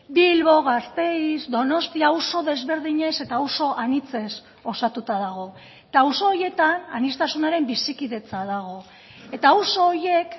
bilbo gasteiz donostia auzo desberdinez eta auzo anitzez osatuta dago eta auzo horietan aniztasunaren bizikidetza dago eta auzo horiek